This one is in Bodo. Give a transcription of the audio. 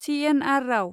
सि.एन.आर. राव